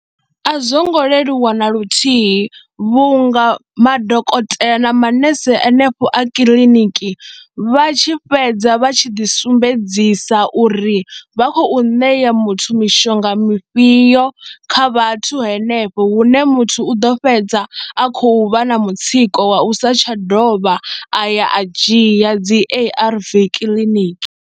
A zwo ngo leluwa na luthihi vhunga madokotela na manese anefho a kiḽiniki vha tshi fhedza vha tshi ḓi sumbedzisa uri vha khou ṋea ya muthu mishonga mifhio kha vhathu henefho hune muthu u ḓo fhedza a khou vha na mutsiko wa u sa tsha dovha a ya a dzhia dzi A_R_V kiḽiniki.